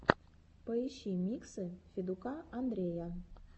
поищи миксы федука андрея